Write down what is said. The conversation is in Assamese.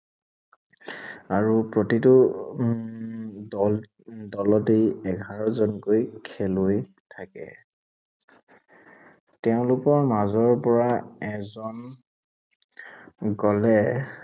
আৰু প্ৰতিটো উম দল, দলতেই এঘাৰজনকৈ খেলুৱৈ থাকে। তেওঁলোকৰ মাজৰ পৰা এজন গলে